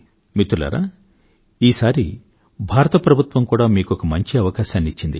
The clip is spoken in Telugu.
మిత్రులారా ఈసారి భారత ప్రభుత్వం కూడా మీకొక మంచి అవకాశాన్నిచ్చింది